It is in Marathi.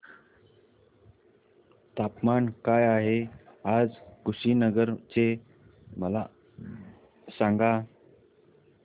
तापमान काय आहे आज कुशीनगर चे मला सांगा